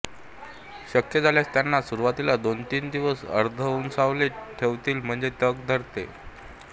शक्य झाल्यास त्यांना सुरुवातीला दोनतीन दिवस अर्ध ऊनसावलीत ठेवावीत म्हणजे तग धरतात